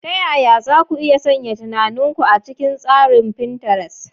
Ta yaya za ku iya sanya tunanin ku a cikin tsarin tsarin Pinterest?